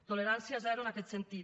tolerància zero en aquest sentit